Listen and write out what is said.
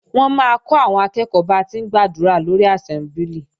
Wọ́n máa kọ́ àwọn akẹ́ẹ̀kọ́ ba ti ń gbàdúrà lórí àsẹ́mbúlì